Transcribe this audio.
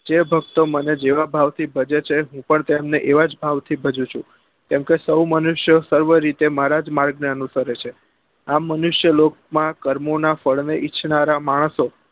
જે ભક્તો મને જેવા ભાવ થી ભજે છે હું પણ એમને એવા જ ભાવ થી ભજું છું કેમ કે સૌ મનુષ્ય સર્વ રીતે મારા જ માર્ગ ને અનુસરે છે આ મનુષ્ય લોક માં કર્મો નાં ફળ ને ઇચ્છનારા માણસો